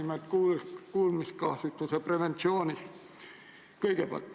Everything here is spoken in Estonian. Pean silmas kuulmiskahjustuse preventsiooni.